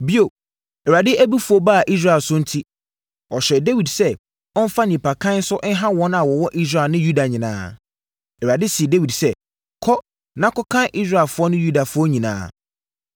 Bio, Awurade abufuo baa Israel so enti, ɔhyɛɛ Dawid sɛ ɔmfa nnipakan so nha wɔn a wɔwɔ Israel ne Yuda nyinaa. Awurade see Dawid sɛ, “Kɔ na kɔkan Israelfoɔ ne Yudafoɔ nyinaa.”